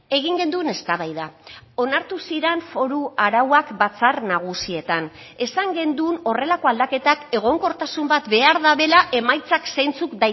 egin genuen eztabaida onartu ziren foru arauak batzar nagusietan esan genuen horrelako aldaketak egonkortasun bat behar dutela emaitzak zeintzuk